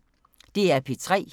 DR P3